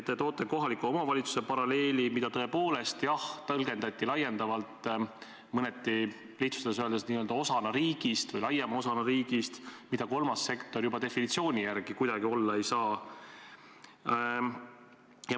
Te toote kohaliku omavalitsuse paralleeli, mida tõepoolest tõlgendati laiendavalt mõneti lihtsustatuna n-ö osana riigist või laiema osana riigist, mida aga kolmas sektor juba oma definitsiooni järgi kuidagi olla ei saa.